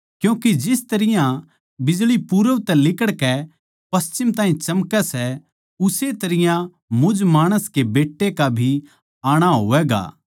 क्यूँके जिस तरियां बिजळी पूरब तै लिकड़कै पश्चिम ताहीं चमकै सै उस्से तरियां मुझ माणस के बेट्टे का भी आणा होवैगा